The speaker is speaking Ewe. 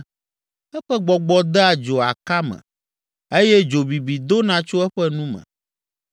Eƒe gbɔgbɔ dea dzo aka me eye dzo bibi dona tso eƒe nu me.